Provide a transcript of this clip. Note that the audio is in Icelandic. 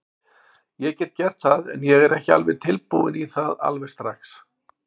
Ég get gert það, en ég er ekki tilbúinn í það alveg strax.